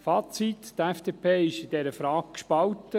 Fazit: Die FDP ist in dieser Frage gespalten.